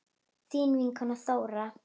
Þín vinkona Þóra.